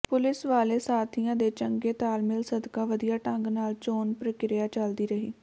police ਵਾਲੇ ਸਾਥੀਆਂ ਦੇ ਚੰਗੇ ਤਾਲਮੇਲ ਸਦਕਾ ਵਧੀਆ ਢੰਗ ਨਾਲ ਚੋਣ ਪ੍ਰਿਕਿਰਿਆ ਚਲਦੀ ਰਹੀ